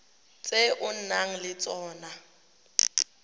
tse o nang le tsona